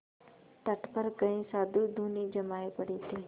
तट पर कई साधु धूनी जमाये पड़े थे